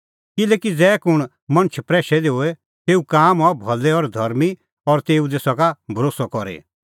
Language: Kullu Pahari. किल्हैकि ज़ै कुंण मणछ प्रैशै दी होए तेऊ काम हआ भलै और धर्मीं और तेऊ दी सका भरोस्सअ करी